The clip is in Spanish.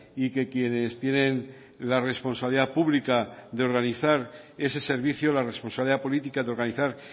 y que quienes tienen la responsabilidad pública de organizar ese servicio la responsabilidad política de organizar